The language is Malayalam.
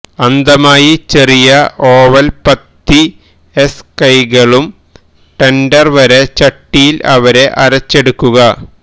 അന്ധമായി ചെറിയ ഓവൽ പത്തിഎസ് കൈകളും ടെൻഡർ വരെ ചട്ടിയിൽ അവരെ അരച്ചെടുക്കുക